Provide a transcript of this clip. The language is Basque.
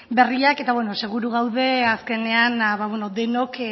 berriak eta beno seguru gaude azkenean denok